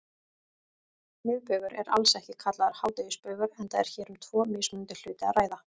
Miðbaugur er alls ekki kallaður hádegisbaugur enda er hér um tvo mismunandi hluti að ræða.